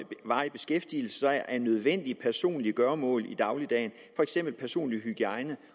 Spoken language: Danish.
varig beskæftigelse er nødvendige personlige gøremål i dagligdagen for eksempel personlig hygiejne